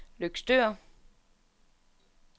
Løgstør